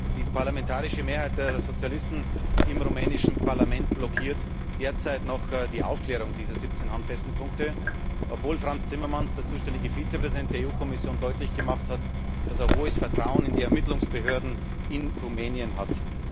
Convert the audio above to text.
Die parlamentarische Mehrheit der Sozialisten im rumänischen Parlament blockiert derzeit noch die Aufklärung dieser 17 handfesten Punkte, obwohl Frans Timmermans, der zuständige Vizepräsident der EU Kommission, deutlich gemacht hat, dass er großes Vertrauen in die Ermittlungsbehörden in Rumänien hat.